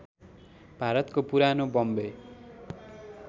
भारतको पुरानो बम्बे